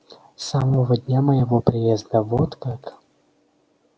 с самого дня моего приезда вот как